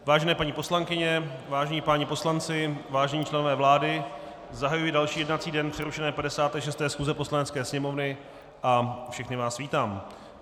Vážené paní poslankyně, vážení páni poslanci, vážení členové vlády, zahajuji další jednací den přerušené 56. schůze Poslanecké sněmovny a všechny vás vítám.